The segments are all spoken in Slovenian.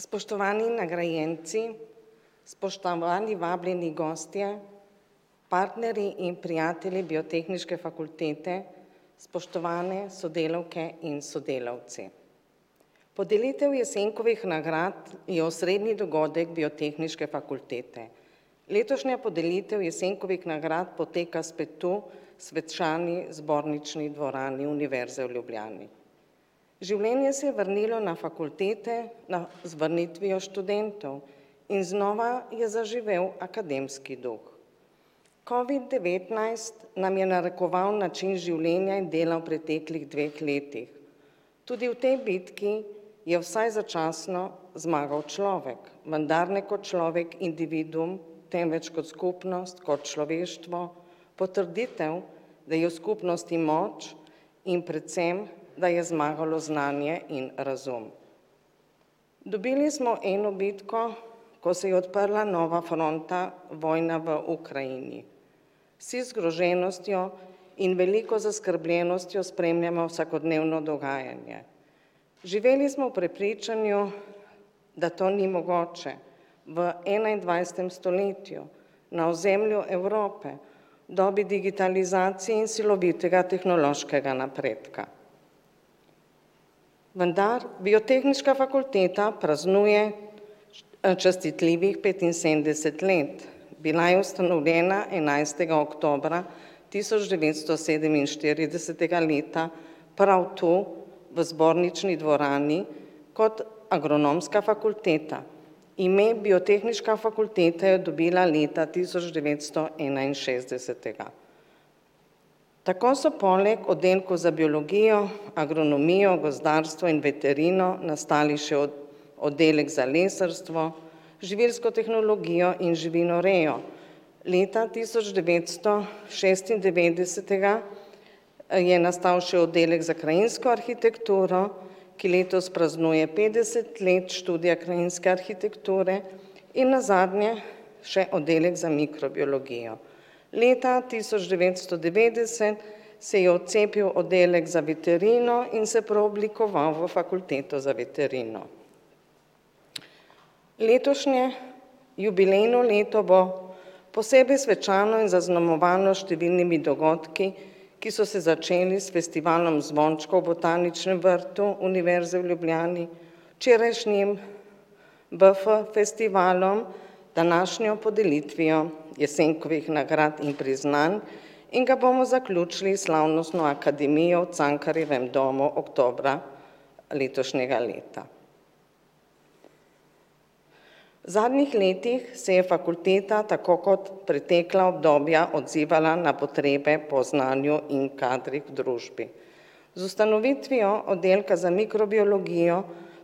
Spoštovani nagrajenci, spoštovani vabljeni gostje, partnerji in prijatelji Biotehniške fakultete, spoštovane sodelavke in sodelavci. Podelitev Jesenkovih nagrad je osrednji dogodek Biotehniške fakultete. Letošnja podelitev Jesenkovih nagrad poteka spet tu svečani Zbornični dvorani Univerze v Ljubljani. Življenje se je vrnilo na fakultete, no, z vrnitvijo študentov, in znova je zaživel akademski duh. Covid-devetnajst nam je narekoval način življenja in dela v preteklih dveh letih. Tudi v tej bitki je vsaj začasno zmagal človek, vendar ne kot človek individuum, temveč kot skupnost, kot človeštvo. Potrditev, da je v skupnosti moč in predvsem da je zmagalo znanje in razum. Dobili smo eno bitko, ko se je odprla nova fronta, vojna v Ukrajini. Vsi zgroženostjo in veliko zaskrbljenostjo spremljamo vsakodnevno dogajanje. Živeli smo v prepričanju, da to ni mogoče v enaindvajsetem stoletju na ozemlju Evrope, dobi digitalizacije in silovitega tehnološkega napredka. Vendar Biotehniška fakulteta praznuje častitljivih petinsedemdeset let. Bila je ustanovljena enajstega oktobra tisoč devetsto sedeminštiridesetega leta prav tu v Zbornični dvorani kot Agronomska fakulteta. Ime Biotehniška fakulteta je dobila leta tisoč devetsto enainšestdesetega. Tako so poleg oddelku za biologijo, agronomijo, gozdarstvo in veterino nastali še oddelek za lesarstvo, živilsko tehnologijo in živinorejo. Leta tisoč devetsto šestindevetdesetega, je nastal še Oddelek za krajinsko arhitekturo, ki letos praznuje petdeset let študija krajinske arhitekture in nazadnje še Oddelek za mikrobiologijo. Leta tisoč devetsto devetdeset se je odcepil Oddelek za veterino in se preoblikoval v Fakulteto za veterino. Letošnje jubilejno leto bo posebej svečano in zaznamovano s številnimi dogodki, ki so se začeli s Festivalom zvončkov v Botaničnem vrtu Univerze v Ljubljani. Včerajšnjim BF-festivalom, današnjo podelitvijo Jesenkovih nagrad in priznanj in ga bomo zaključili s slavnostno akademijo v Cankarjevem domu oktobra letošnjega leta. Zadnjih letih se je fakulteta tako kot pretekla obdobja odzivala na potrebe po znanju in kadrih v družbi. Z ustanovitvijo Oddelka za mikrobiologijo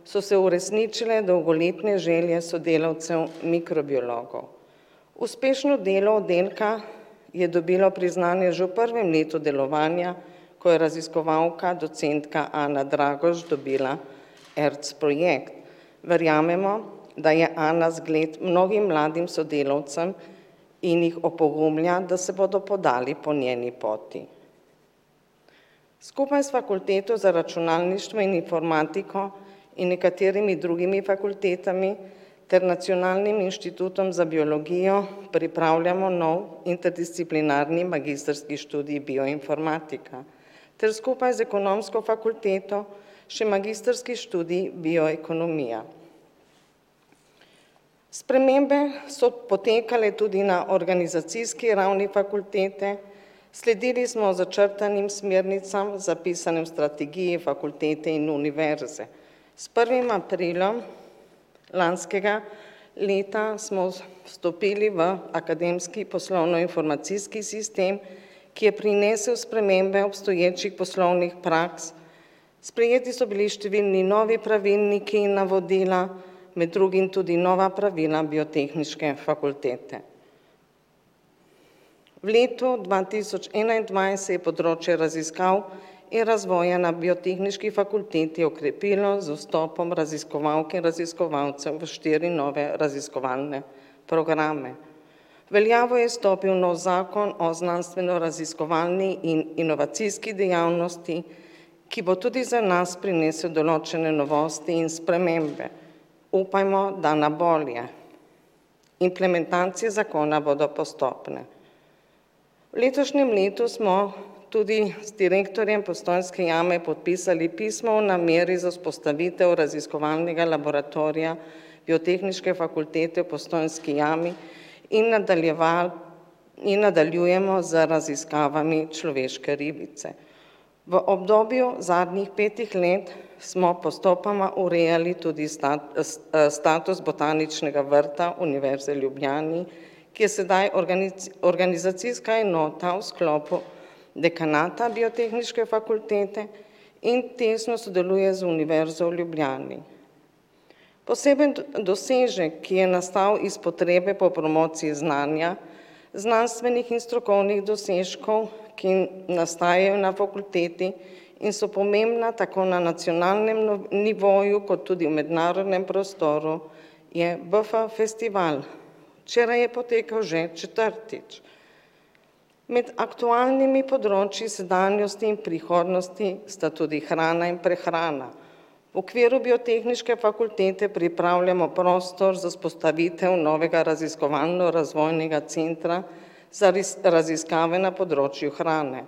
so se uresničile dolgoletne želje sodelavcev mikrobiologov. Uspešno delo oddelka je dobilo priznanje že v prvem letu delovanja, ko je raziskovalka docentka Anna Dragoš dobila ERC-projekt. Verjamemo, da je Anna zgled mnogim mladim sodelavcem in jih opogumlja, da se bodo podali po njeni poti. Skupaj s Fakulteto za računalništvo in informatiko in nekaterimi drugimi fakultetami ter Nacionalnim inštitutom za biologijo pripravljamo nov interdisciplinarni magistrski študij Bioinformatika. Ter skupaj z Ekonomsko fakulteto še magistrski študij bioekonomija. Spremembe so potekale tudi na organizacijski ravni fakultete, sledili smo začrtanim smernicam, zapisanim v strategiji fakultete in Univerze. S prvim aprilom lanskega leta smo vstopili v akademski poslovnoinformacijski sistem, ki je prinesel spremembe obstoječih poslovnih praks. Sprejeti so bili številni novi pravilniki in navodila. Med drugim tudi nova pravila Biotehniške fakultete. V letu dva tisoč enaindvajset je področje raziskav in razvoja na Biotehniški fakulteti okrepilo z vstopom raziskovalke, raziskovalcev v štiri nove raziskovalne programe. V veljavo je stopil novi zakon o znanstvenoraziskovalni in inovacijski dejavnosti, ki bo tudi za nas prinesel določene novosti in spremembe. Upajmo, da na bolje. Implementacije zakona bodo postopne. V letošnjem letu smo tudi z direktorjem Postojnske jame podpisali pismo o nameri za vzpostavitev raziskovalnega laboratorija Biotehniške fakultete v Postojnski jami in nadaljevali in nadaljujemo z raziskavami človeške ribice. V obdobju zadnjih petih let smo postopoma urejali tudi status Botaničnega vrta Univerze v Ljubljani, ki je sedaj organizacijska enota v sklopu dekanata Biotehniške fakultete in tesno sodeluje z Univerzo v Ljubljani. Poseben dosežek, ki je nastal iz potrebe po promociji znanja, znanstvenih in strokovnih dosežkov, ki nastajajo na fakulteti, in so pomembna tako na nacionalnem nivoju kot tudi v mednarodnem prostoru je BF-festival. Včeraj je potekal že četrtič. Med aktualnimi področju sedanjosti in prihodnosti sta tudi hrana in prehrana. V okviru Biotehniške fakultete pripravljamo prostor za vzpostavitev novega raziskovalno-razvojnega centra raziskave na področju hrane.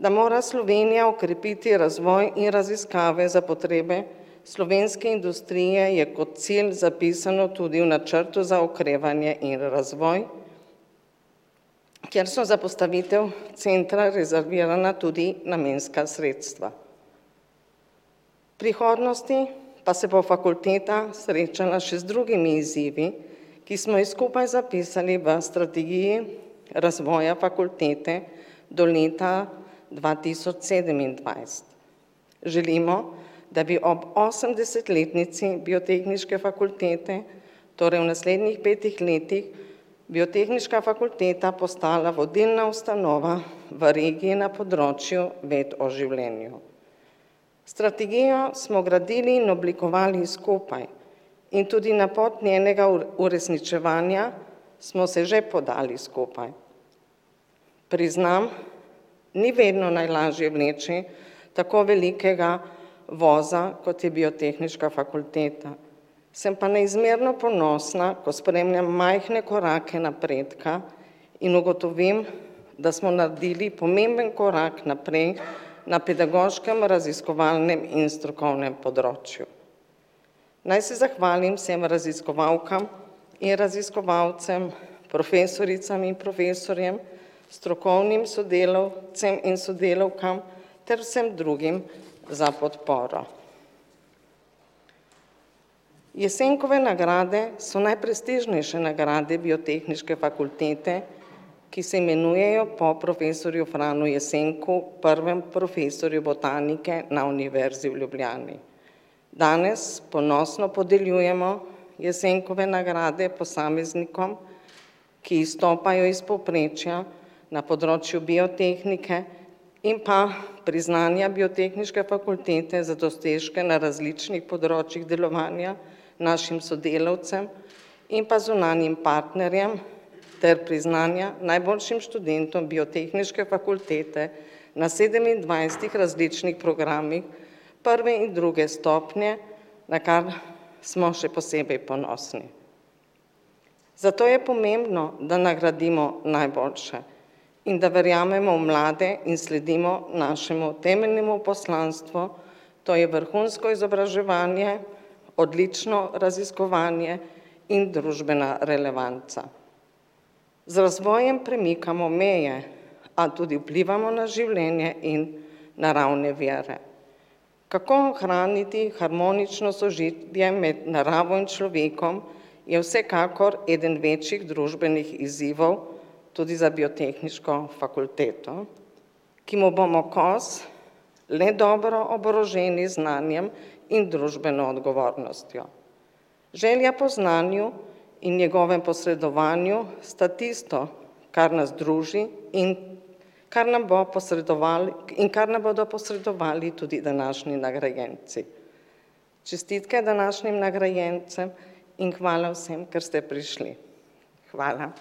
Da mora Slovenija okrepiti razvoj in raziskave za potrebe slovenske industrije je kot cilj zapisano tudi v načrtu za okrevanje in razvoj, kjer so za postavitev centra rezervirana tudi namenska sredstva. V prihodnosti pa se bo fakulteta srečala še z drugimi izzivi, ki smo jih skupaj zapisali v strategiji razvoja fakultete do leta dva tisoč sedemindvajset. Želimo, da bi ob osemdesetletnici Biotehniške fakultete, torej v naslednjih petih letih, Biotehniška fakulteta postala vodilna ustanova v regiji na področju ved o življenju. Strategijo smo gradili in oblikovali skupaj. In tudi na pot njenega uresničevanja smo se že podali skupaj. Priznam, ni vedno najlažje vleči tako velikega voza, kot je Biotehniška fakulteta. Sem pa neizmerno ponosna, ko spremljam majhne korake napredka in ugotovim, da smo naredili pomemben korak naprej na pedagoškem, raziskovalnem in strokovnem področju. Naj se zahvalim vsem raziskovalkam in raziskovalcem, profesoricam in profesorjem, strokovnim sodelavcem in sodelavkam ter vsem drugim za podporo. Jesenkove nagrade so najprestižnejše nagrade Biotehniške fakultete, ki se imenujejo po profesorju Franu Jesenku, prvem profesorju botanike na Univerzi v Ljubljani. Danes, ponosno podeljujemo Jesenkove nagrade posameznikom, ki izstopajo iz povprečja na področju biotehnike, in pa priznanja Biotehniške fakultete za dosežke na različnih področjih delovanja našim sodelavcem in pa zunanjim partnerjem ter priznanja najboljšim študentom Biotehniške fakultete na sedemindvajsetih različnih programih prve in druge stopnje, na kar smo še posebej ponosni. Zato je pomembno, da nagradimo najboljše in da verjamemo v mlade in sledimo našemu temeljnemu poslanstvu, to je vrhunsko izobraževanje, odlično raziskovanje in družbena relevanca. Z razvojem premikamo meje, a tudi vplivamo na življenje in naravne vire. Kako ohraniti harmonično sožitje med naravo in človekom, je vsekakor eden večjih družbenih izzivov tudi za Biotehniško fakulteto, ki mu bomo kos le dobro oboroženi z znanjem in družbeno odgovornostjo. Želja po znanju in njegovem posredovanju sta tisto, kar nas druži in kar nam bo in kar nam bodo posredovali tudi današnji nagrajenci. Čestitke današnjim nagrajencem in hvala vsem, ker ste prišli. Hvala.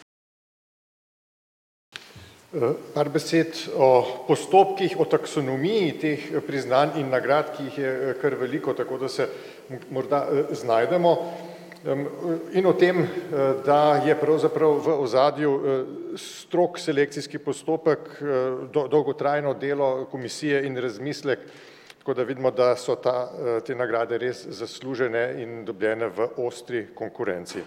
par besed o postopkih o taksonomiji teh, priznanj in nagrad, ki jih je kar veliko, tako da se morda, znajdemo, in o tem, da je pravzaprav v ozadju, strog selekcijski postopek, dolgotrajno delo komisije in razmislek, tako da vidimo, da so ta, te nagrade res zaslužene in dobljene v ostri konkurenci.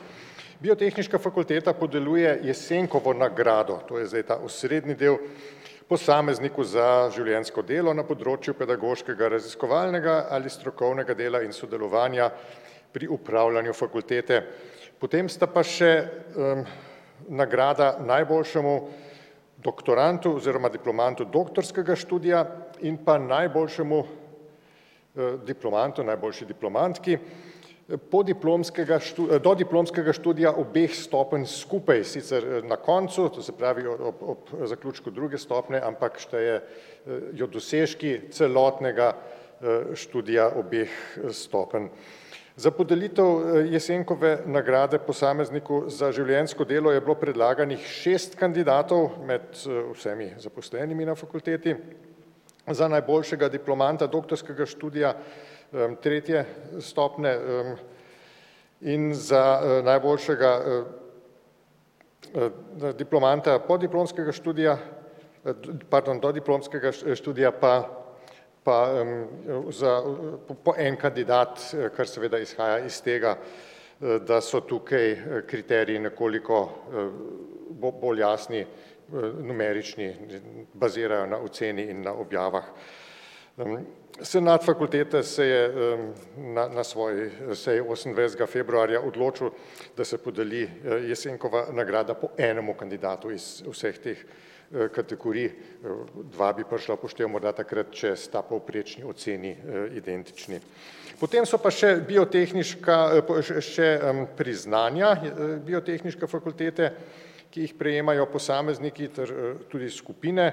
Biotehniška fakulteta podeljuje Jesenkovo nagrado, to je zdaj ta osrednji del, posamezniku za življenjsko delo na področju pedagoškega, raziskovalnega ali strokovnega dela in sodelovanja pri upravljanju fakultete. Potem sta pa še, nagrada najboljšemu doktorandu oziroma diplomantu doktorskega študija in pa najboljšemu, diplomantu, najboljši diplomantki, dodiplomskega študija obeh stopenj skupaj, sicer na koncu, to se pravi ob, ob, zaključku druge stopnje, ampak štejejo dosežki celotnega, študija obeh stopenj. Za podelitev Jesenkove nagrade posamezniku za življenjsko delo je bilo predlaganih šest kandidatov, med vsemi zaposlenimi na fakulteti. Za najboljšega diplomanta doktorskega študija, tretje stopnje, in za, najboljšega, diplomanta podiplomskega študija, pardon, dodiplomskega študija pa pa, za, po en kandidat, kar seveda izhaja iz tega, da so tukaj kriteriji nekoliko, bolj jasni. numerični, bazirajo na oceni in na objavah. Senat fakultete se je, na, na svoji seji osemindvajsetega februarja odločil, da se podeli, Jesenkova nagrada po enemu kandidatu iz vseh teh, kategorij, dva bi prišla v poštev morda takrat, če sta povprečni oceni, identični. Potem so pa še biotehniška, še priznanja, biotehniške fakultete, ki jih prejemajo posamezniki ter, tudi skupine,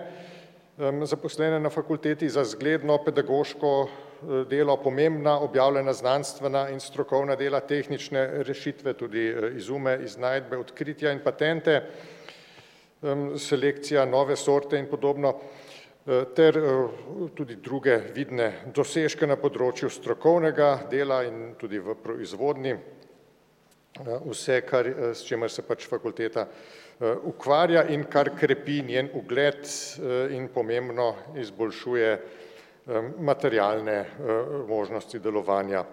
zaposlene na fakulteti, za zgledno pedagoško, delo, pomembna objavljena znanstvena in strokovna dela, tehnične rešitve, tudi izume, iznajdbe, odkritja in patente, selekcija, nove sorte in podobno. ter, tudi druge vidne dosežke na področju strokovnega dela in tudi v proizvodnji. vse, kar, s čimer se pač fakulteta, ukvarja in kar krepi njen ugled, in pomembno izboljšuje, materialne, možnosti delovanja.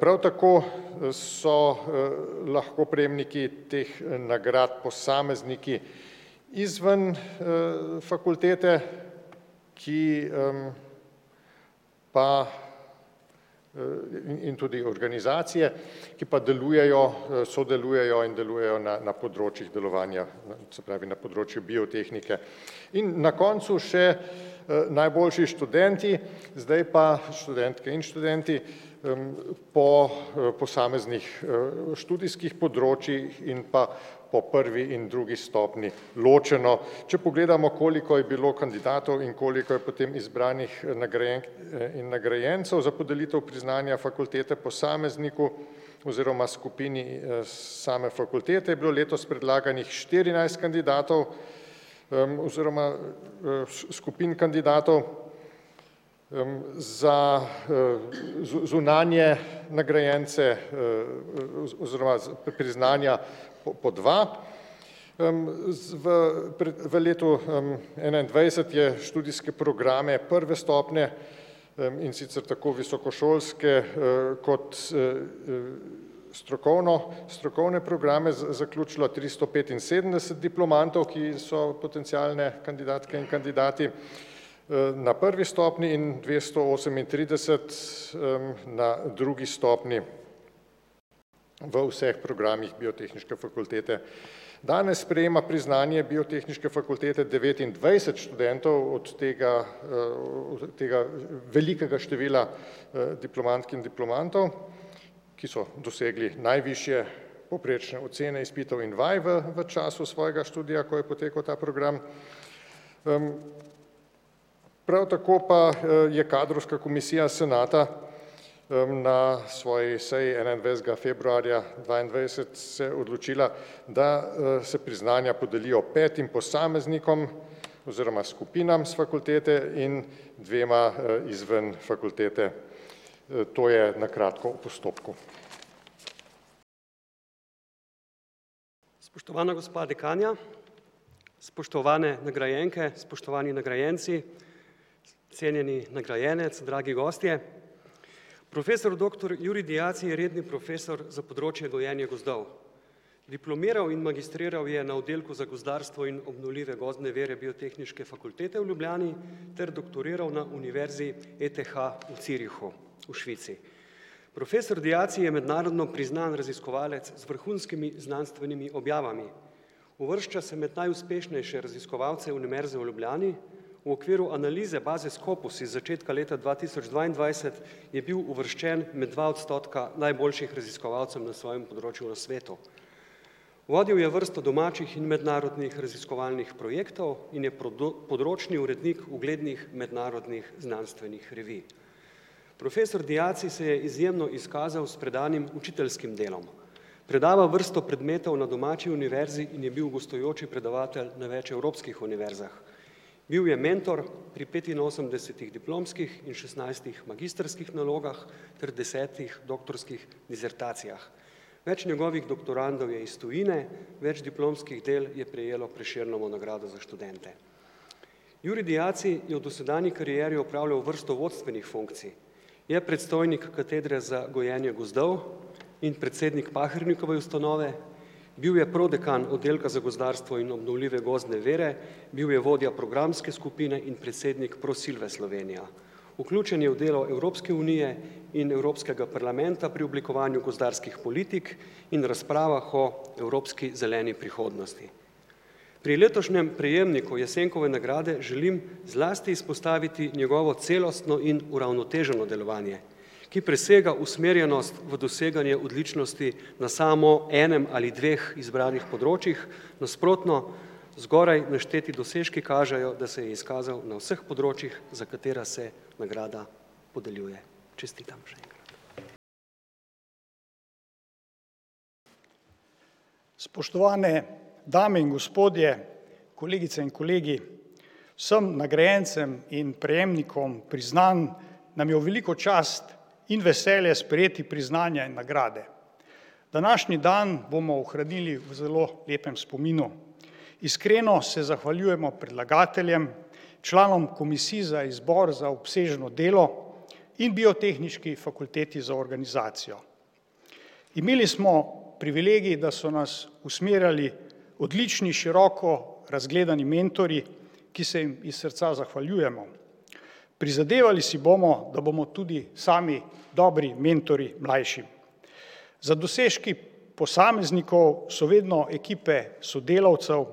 prav tako, so, lahko prejemniki teh nagrad posamezniki, izven, fakultete, ki, pa, in tudi organizacije, ki pa delujejo, sodelujejo in delujejo na, na področjih delovanja, se pravi na področju biotehnike. In na koncu še, najboljši študenti, zdaj pa študentke in študenti, po, posameznih, študijskih področjih in pa po prvi in drugi stopnji ločeno. Če pogledamo, koliko je bilo kandidatov in koliko je potem izbranih, nagrajenk in nagrajencev za podelitev priznanja fakultete posamezniku oziroma skupini, same fakultete, je bilo letos predlaganih štirinajst kandidatov. oziroma, skupin kandidatov, za, zunanje nagrajence, oziroma priznanja po dva. v, v letu, enaindvajset je študijske programe prve stopnje, in sicer tako visokošolske, kot, strokovno, strokovne programe z zaključilo tristo petinsedemdeset diplomantov, ki so potencialne kandidatke in kandidati. na prvi stopnji in dvesto osemintrideset, na drugi stopnji v vseh programih Biotehniške fakultete. Danes prejema priznanje Biotehniške fakultete devetindvajset študentov, od tega, tega, velikega števila, diplomantk in diplomantov, ki so dosegli najvišje povprečne ocene izpitov in vaj v času svojega študija, ko je potekal ta program. prav tako pa, je kadrovska komisija senata, na svoji seji enaindvajsetega februarja dvaindvajset se odločila, da, se priznanja podelijo petim posameznikom oziroma skupinam s fakultete in dvema, izven fakultete. to je na kratko o postopku. Spoštovana gospa dekanja, spoštovane nagrajenke, spoštovani nagrajenci, cenjeni nagrajenec, dragi gostje, profesor doktor Jurij Diaci je redni profesor za področje gojenja gozdov. Diplomiral in magistriral je na Oddelku za gozdarstvo in obnovljive gozdne vire Biotehniške Fakultete v Ljubljani ter doktoriral na univerzi ETH v Zürichu v Švici. Profesor Diaci je mednarodno priznan raziskovalec z vrhunskimi znanstvenimi objavami, uvršča se med najuspešnejše raziskovalce Univerze v Ljubljani v okviru analize baze Scopus iz začetka leta dva tisoč dvaindvajset je bil uvrščen med dva odstotka najboljših raziskovalcev na svojem področju na svetu. Vodil je vrsto domačih in mednarodnih raziskovalnih projektov in je področni urednik uglednih mednarodnih znanstvenih revij. Profesor Diaci se je izjemno izkazal s predanim učiteljskim delom. Predava vrsto predmetov na domači univerzi in je bil gostujoči predavatelj na več evropskih univerzah. Bil je mentor pri petinosemdesetih diplomskih in šestnajstih magistrskih nalogah ter desetih doktorskih disertacijah. Več njegovih doktorandov je iz tujine, več diplomskih del je prejelo Prešernovo nagrado za študente. Jurij Diaci je v dosedanji karieri opravljal vrsto vodstvenih funkcij. Je predstojnik katedre za gojenje gozdov in predsednik Pahernikove ustanove, bil je prodekan Oddelka za gozdarstvo in obnovljive gozdne vire, bil je vodja programske skupine in predsednik skupine Prosilve Slovenja. Vključen je v delo Evropske unije in Evropskega parlamenta pri oblikovanju gozdarskih politik in razpravah o evropski zeleni prihodnosti. Pri letošnjem prejemniku Jesenkove nagrade želim zlasti izpostaviti njegovo celostno in uravnoteženo delovanje, ki presega usmerjenost v doseganje odličnosti na samo enem ali dveh izbranih področjih, nasprotno, zgoraj našteti dosežki kažejo, da se je izkazal na vseh področjih, za katere se nagrada podeljuje. Čestitam še enkrat. Spoštovane dame in gospodje, kolegice in kolegi, vsem nagrajencem in prejemnikom priznanj nam je v veliko čast in veselje sprejeti priznanja in nagrade. Današnji dan bomo ohranili v zelo lepem spominu. Iskreno se zahvaljujemo predlagateljem, članom komisij za izbor za obsežno delo in Biotehniški fakulteti za organizacijo. Imeli smo privilegij, da so nas usmerjali odlični, široko razgledani mentorji, ki se jim iz srca zahvaljujemo. Prizadevali si bomo, da bomo tudi sami dobri mentorji mlajšim. Za dosežki posameznikov so vedno ekipe sodelavcev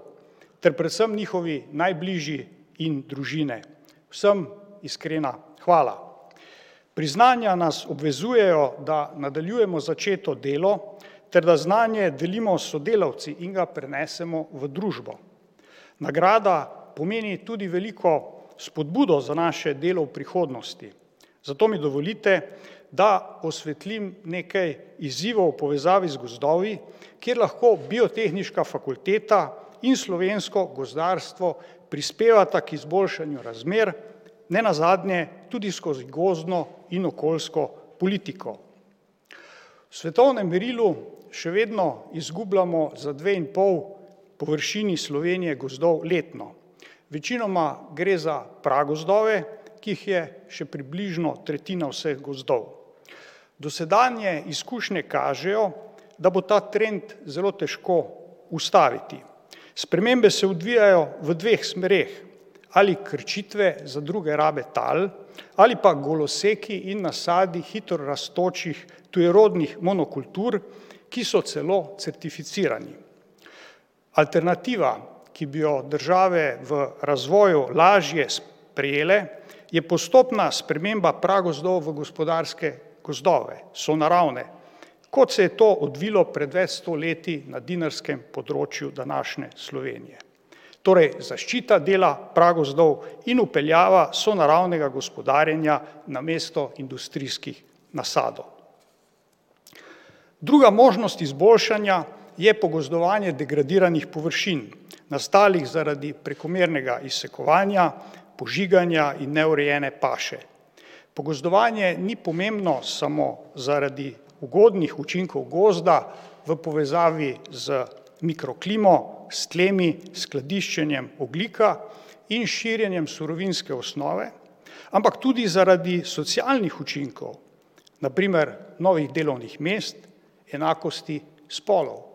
ter predvsem njihovi najbližji in družine. Vsem iskrena hvala. Priznanja nas obvezujejo, da nadaljujemo začeto delo ter da znanje delimo s sodelavci in ga prenesemo v družbo. Nagrada pomeni tudi veliko spodbudo za naše delo v prihodnosti. Zato mi dovolite, da osvetlim nekaj izzivov v povezavi z gozdovi, kjer lahko Biotehniška fakulteta in slovensko gozdarstvo prispevata k izboljšanju razmer, nenazadnje tudi skozi gozdno in okoljsko politiko. V svetovnem merilu še vedno izgubljamo za dve in pol površini Slovenije gozdov letno. Večinoma gre za pragozdove, ki jih je še približno tretjina vseh gozdov. Dosedanje izkušnje kažejo, da bo ta trend zelo težko ustaviti. Spremembe se odvijajo v dveh smereh. Ali krčitve za druge rabe tal ali pa goloseki in nasadi hitro rastočih tujerodnih monokultur, ki so celo certificirani. Alternativa, ki bi jo države v razvoju lažje sprejele, je postopna sprememba pragozdov v gospodarske gozdove, sonaravne. Kot se je to odvilo pred več sto leti na dinarskem področju današnje Slovenije. Torej zaščita dela pragozdov in vpeljava sonaravnega gospodarjenja namesto industrijskih nasadov. Druga možnost izboljšanja je pogozdovanje degradiranih površin, nastalih zaradi prekomernega izsekovanja, požiganja in neurejene paše. Pogozdovanje ni pomembno samo zaradi ugodnih učinkov gozda v povezavi z mikroklimo, s tlemi, s skladiščenjem ogljika in širjenjem surovinske osnove, ampak tudi zaradi socialnih učinkov. Na primer novih delovnih mest, enakosti spolov.